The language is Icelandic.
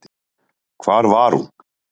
Hvar var hún?